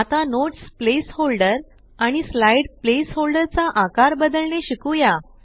आता notes placeholder आणि slide placeholder चा आकार बदलणे शिकुया